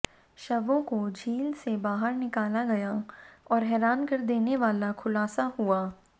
शवों को झील से बाहर निकाला गया और हैरान कर देने वाला खुलासा हुआ